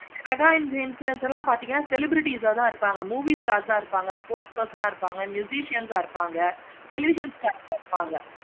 mega influencers எல்லாம் பார்த்தீங்கன்னா celebrities ஆஹ் தான் இருப்பாங்க. movie stars ஆஹ் லாம் இருப்பாங்க. sports person ஆஹ் இருப்பாங்க. ians ஆஹ் இருப்பாங்க. television stars ஆஹ் லாம் இருப்பாங்க.